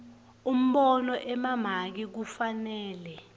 umbono emamaki kufanele